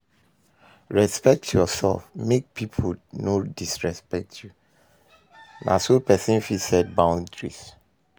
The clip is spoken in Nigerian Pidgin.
Respect yourself, make people no disrespect you, na so person fit set boundaries